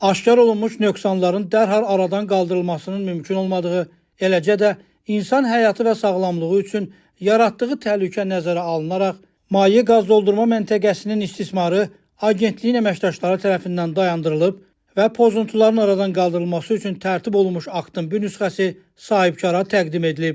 Aşkarlanmış nöqsanların dərhal aradan qaldırılmasının mümkün olmadığı, eləcə də insan həyatı və sağlamlığı üçün yaratdığı təhlükə nəzərə alınaraq maye qaz doldurma məntəqəsinin istismarı Agentliyin əməkdaşları tərəfindən dayandırılıb və pozuntuların aradan qaldırılması üçün tərtib olunmuş aktın bir nüsxəsi sahibkara təqdim edilib.